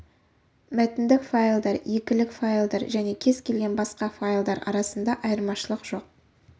мәтіндік файлдар екілік файлдар және кез келген басқа файлдар арасында айырмашылық жоқ